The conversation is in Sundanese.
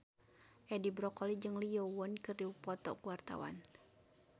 Edi Brokoli jeung Lee Yo Won keur dipoto ku wartawan